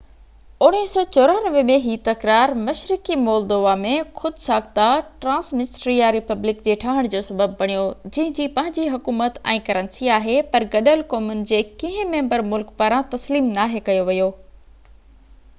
1994 ۾ هي تڪرار مشرقي مولودووا ۾ خود-ساخته ٽرانسنسٽريا ريپبلڪ جي ٺهڻ جو سبب بڻيو جنهن جي پنهنجي حڪومت ۽ ڪرنسي آهي پر گڏيل قومن جي ڪنهن ميمبر ملڪ پاران تسليم ناهي ڪيو ويو